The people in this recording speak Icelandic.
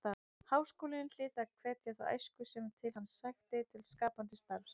Háskólinn hlyti að hvetja þá æsku sem til hans sækti til skapandi starfs.